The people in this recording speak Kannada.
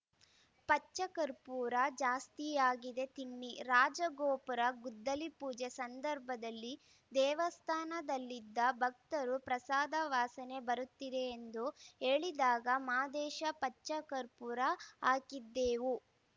ಪಚ್ಚ ಕರ್ಪೂರ ಜಾಸ್ತಿಯಾಗಿದೆ ತಿನ್ನಿ ರಾಜಗೋಪುರ ಗುದ್ದಲಿ ಪೂಜೆ ಸಂದರ್ಭದಲ್ಲಿ ದೇವಸ್ಥಾನದಲ್ಲಿದ್ದ ಭಕ್ತರು ಪ್ರಸಾದ ವಾಸನೆ ಬರುತ್ತಿದೆ ಎಂದು ಹೇಳಿದಾಗ ಮಾದೇಶ ಪಚ್ಚ ಕರ್ಪೂರ ಹಾಕಿದ್ದೆವು